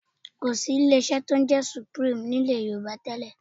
Kò sí ilé-iṣẹ́ tí ó ń jẹ́ Supreme ní ilẹ̀ Yorùbá tẹ́lẹ̀